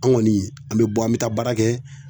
An kɔni an be bɔ an be taa baara kɛ